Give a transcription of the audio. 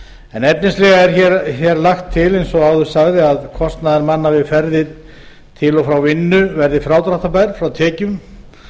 en efnislega er lagt til eins og áður sagði að kostnaður manna við ferðir til og frá vinnu verði frádráttarbær frá tekjum